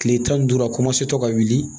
Kile tan ni duuru a tɔ ka wuli